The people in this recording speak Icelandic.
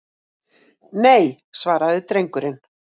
Nei, svaraði drengurinn.